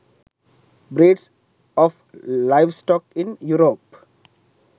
breeds of livestock in europe